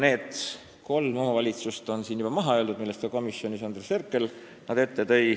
Need kolm omavalitsust on siin juba maha öeldud, komisjonis tõi Andres Herkel nad välja.